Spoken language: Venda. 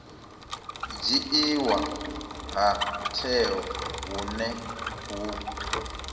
dzhiiwa ha tsheo hune hu